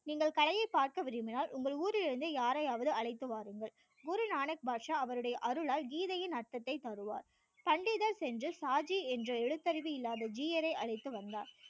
நீங்கள் கலையை பார்த்து விரும்பினால் உங்கள் ஊரில் இருந்து யாரையாவது அழைத்து வாருங்கள் குரு நானக் பாஷா அவர் உடைய அருளால் கீதையின் அர்த்தத்தை தருவார் பண்டிதர் சென்று சாஜி என்ற எழுத்தறிவு இல்லாத ஜீயரை அழைத்து வந்தார்